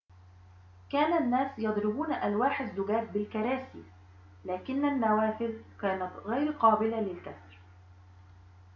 كان الناس يضربون ألواح الزجاج بالكراسي لكن النوافذ كانت غير قابلة للكسر